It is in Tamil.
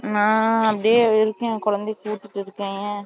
நான் அப்டியே இருக்கேன் குழந்தைக்கு ஊட்டிட்டு இருக்கேன் ஏன்